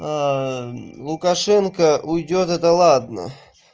лукашенко уйдёт это ладно